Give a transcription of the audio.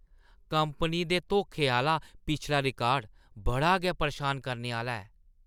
Company दे धोखे आह्‌ला पिछला रिकार्ड बड़ा गै परेशान करने आह्‌ला ऐ ।